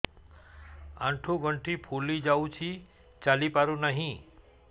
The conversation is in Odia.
ଆଂଠୁ ଗଂଠି ଫୁଲି ଯାଉଛି ଚାଲି ପାରୁ ନାହିଁ